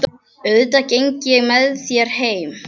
Auðvitað geng ég með þér heim